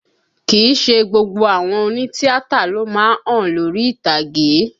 Kìí ṣe gbogbo àwọn òní tíátà ló má ń hàn lórí ìtàgé